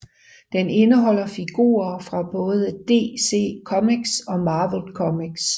Den indeholder figurer fra både DC Comics og Marvel Comics